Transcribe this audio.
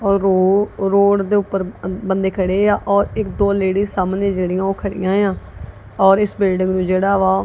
ਉਹ ਰੋਡ ਔਰ ਰੋਡ ਦੇ ਉੱਪਰ ਬੰਦੇ ਖੜੇ ਆ ਔਰ ਇੱਕ ਦੋ ਲੇਡੀ ਸਾਹਮਣੇ ਜਿਹੜੀਆਂ ਉਹ ਖੜੀਆਂ ਆ ਔਰ ਇਸ ਬਿਲਡਿੰਗ ਨੂੰ ਜਿਹੜਾ ਵਾ--